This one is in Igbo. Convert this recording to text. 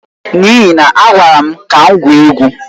N'ihi na a gwara m ka m gwuo egwu.